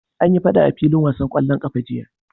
Anyi faɗa a filin wasan ƙwallon ƙafa jiya.